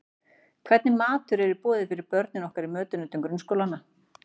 Hvernig matur er í boði fyrir börnin okkar í mötuneytum grunnskólanna?